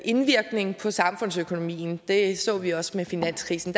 indvirkning på samfundsøkonomien det så vi også med finanskrisen